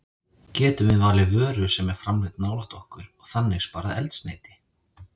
Getum við valið vöru sem er framleidd nálægt okkur og þannig sparað eldsneyti?